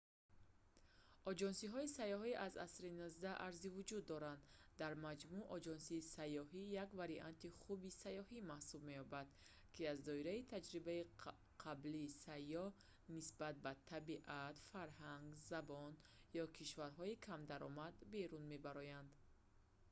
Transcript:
оҷонсиҳои сайёҳӣ аз асри 19 арзи вуҷуд доранд дар маҷмӯъ оҷонсии сайёҳӣ як варианти хуби сайёҳӣ маҳсуб меёбад ки аз доираи таҷрибаи қаблии сайёҳ нисбат ба табиат фарҳанг забон ё кишварҳои камдаромад берун мебарояд